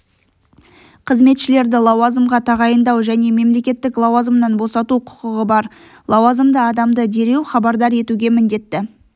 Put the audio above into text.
қызметшілерді лауазымға тағайындау және мемлекеттік лауазымнан босату құқығы бар лауазымды адамды дереу хабардар етуге міндетті